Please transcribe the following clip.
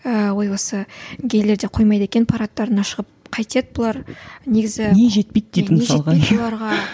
ыыы ой осы гейлер де қоймайды екен парадтарына шығып қайтеді бұлар негізі не жетпейді бұларға